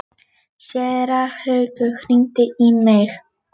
Séra Haukur hringdi í mig.